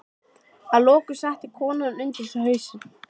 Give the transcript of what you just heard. Að lokum setti konan undir sig hausinn.